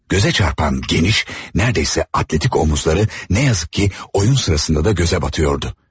Göze çarpan geniş, neredeyse atletik omuzları ne yazık ki oyun sırasında da göze batıyordu.